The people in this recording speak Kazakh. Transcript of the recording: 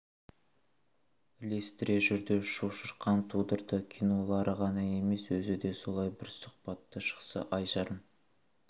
ілестіре жүрді шу-шырқан тудырды кинолары ғана емес өзі де солай бір сұхбаты шықса ай жарым